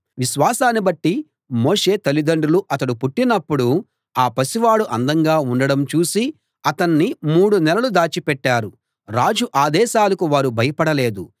విశ్వాసాన్ని బట్టి మోషే తల్లిదండ్రులు అతడు పుట్టినప్పుడు ఆ పసివాడు అందంగా ఉండడం చూసి అతణ్ణి మూడు నెలలు దాచి పెట్టారు రాజు ఆదేశాలకు వారు భయపడలేదు